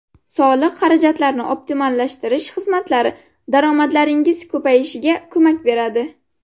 Soliq xarajatlarini optimallashtirish xizmatlari daromadlaringiz ko‘payishiga ko‘mak beradi.